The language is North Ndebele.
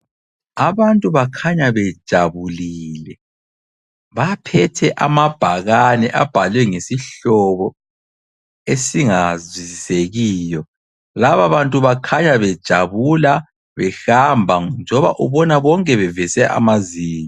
Abantu bakhanya bejabulile. Baphethe amabhakane abhalwe ngesihlobo esingazwisisekiyo. Laba bantu bakhanya bejabula behamba njengoba ubona bonke beveze amazinyo.